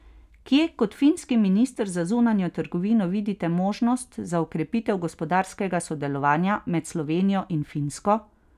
Kje kot finski minister za zunanjo trgovino vidite možnosti za okrepitev gospodarskega sodelovanja med Slovenijo in Finsko?